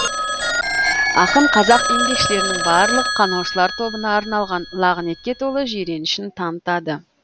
ақын қазақ еңбекшілерінің барлық қанаушылар тобына арналған лағынетке толы жиренішін танытады